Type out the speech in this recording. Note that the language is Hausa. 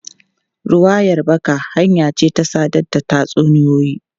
Ruwayar baka hanya ce ta sadar da tatsuniyoyi.